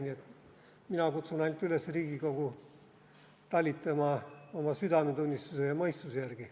Nii et mina ainult kutsun Riigikogu üles talitama oma südametunnistuse ja mõistuse järgi.